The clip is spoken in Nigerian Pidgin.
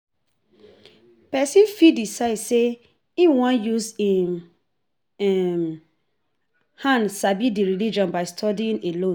Person fit decide sey im wan use im hand sabi di religion by studying alone